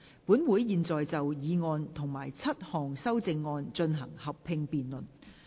本會現在就議案及7項修正案進行合併辯論。